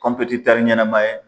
ɲɛnama ye.